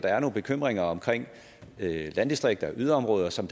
er nogle bekymringer omkring landdistrikter og yderområder som